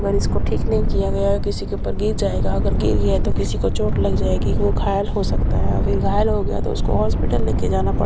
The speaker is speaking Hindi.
अगर इसको ठीक नहीं किया गया किसी के ऊपर गिर जाएगा अगर गिर गया तो किसी को चोट लग जाएगी वो घायल हो सकता है अभी घायल हो गया तो उसको हॉस्पिटल लेकर जाना पड़--